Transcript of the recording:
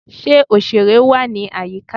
Ṣe oṣere wá ní àyíká?